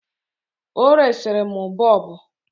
Ọ resiri m boobu